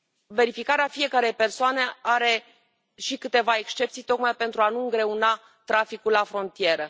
Verificarea fiecărei persoane are și câteva excepții, tocmai pentru a nu îngreuna traficul la frontieră.